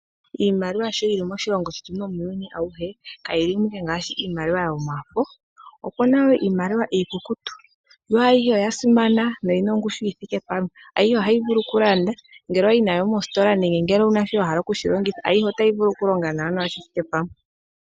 Iimaliwa sho yili moshilongo shetu nomuyuuni awuhe kayili mo ashike yomafo, okuna wo iimaliwa iikukutu yo ayihe oya simana noyina ongushu yi thike pamwe, yo ayihe ohayi vulu oku landa ngele owayi nayo mositola nenge wuna shi wahala okushi longitha ayihe otayi vulu oku longa nawa shi thike pamwe.